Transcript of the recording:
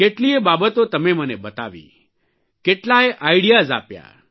કેટલીયે બાબતો તમે મને બતાવી કેટલાય આઇડિયાઝ આપ્યા